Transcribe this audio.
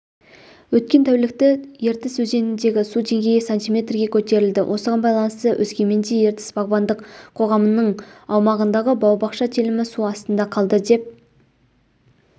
өткен тәулікті ертіс өзеніндегі су деңгейі сантиметрге көтерілді осығай байланысты өскеменде ертіс бағбандық қоғамының аумағындағы бау-бақша телімі су астында қалды деп